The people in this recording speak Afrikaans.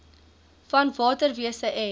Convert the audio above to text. van waterwese en